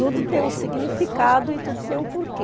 Tudo tem um significado e tudo tem um porquê.